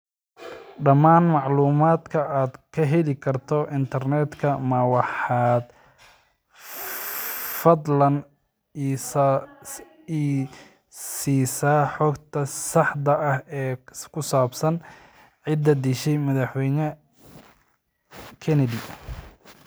Dhammaan macluumaadka aad ka heli karto internetka ma waxaad fadlan i siisaa xogta saxda ah ee ku saabsan cidda dishay madaxweyne Kenedy